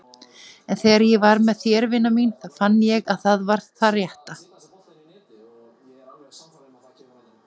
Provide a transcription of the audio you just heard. En þegar ég var með þér vina mín þá fann ég að það var rétt.